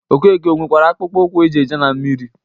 Okeke o nwekwara akpụkpọ ụkwụ e ji eje na mmiri?